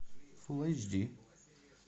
фул эйч ди